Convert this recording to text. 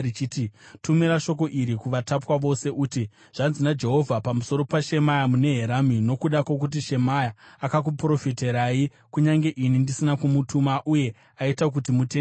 “Tumira shoko iri kuvatapwa vose, uti, ‘Zvanzi naJehovha pamusoro paShemaya, muNeherami: Nokuti Shemaya akuprofitirai, kunyange ini ndisina kumutuma, uye aita kuti mutende nhema,